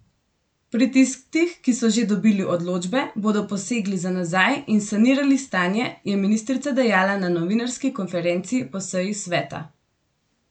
Pri tistih, ki so že dobili odločbe, bodo posegli za nazaj in sanirali stanje, je ministrica dejala na novinarski konferenci po seji sveta.